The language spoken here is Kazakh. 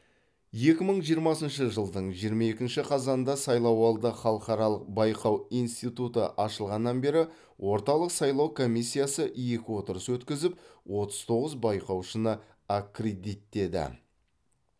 екі мың жиырмасыншы жылдың жиырма екінші қазанында сайлауды халықаралық байқау институты ашылғаннан бері орталық сайлау комиссиясы екі отырыс өткізіп отыз тоғыз байқаушыны аккредиттеді